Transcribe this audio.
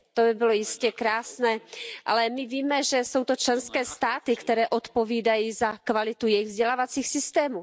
To by bylo jistě krásné, ale my víme, že jsou to členské státy, které odpovídají za kvalitu svých vzdělávacích systémů.